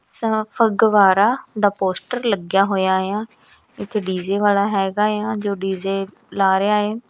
ਸ ਫਗਵਾੜਾ ਦਾ ਪੋਸਟਰ ਲੱਗਿਆ ਹੋਇਆ ਆ ਇੱਥੇ ਡੀ_ਜੇ ਵਾਲਾ ਹੈਗਾ ਆ ਜੋ ਡੀ_ਜੇ ਲਾ ਰਿਹਾ ਐ।